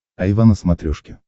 айва на смотрешке